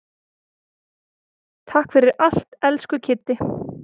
Takk fyrir allt, elsku Kiddi.